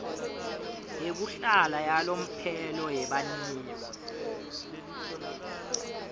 yekuhlala yalomphelo yebaniyo